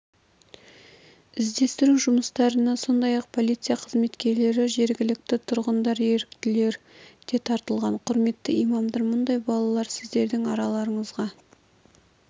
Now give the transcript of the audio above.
іздестіру жұмыстарына сондай-ақ полиция қызметкерлері жергілікті тұрғындар еріктілер де тартылған құрметті имамдар мұндай балалар сіздердің арларыңызға